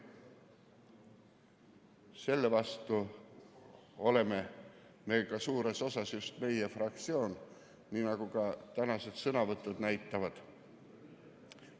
Selle vastu on suures osas just meie fraktsioon, nii nagu ka tänased sõnavõtud näitavad.